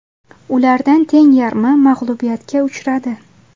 Ulardan teng yarmi mag‘lubiyatga uchradi.